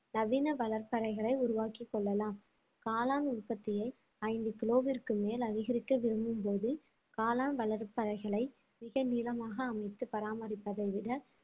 நவீன வளர்ப்பறைகளை உருவாக்கிக் கொள்ளலாம் காளான் உற்பத்தியை ஐந்து கிலோவிற்கு மேல் அதிகரிக்க விரும்பும்போது காளான் வளர்ப்பறைகளை மிக நீளமாக அமைத்து பராமரிப்பதை விட